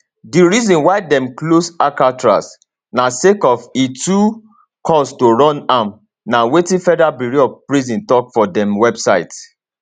di reason why dem close alcatraz na sake of e too cost to run am na wetin federal bureau of prisons tok for dem website